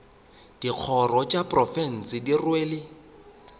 dikgoro tša profense di rwele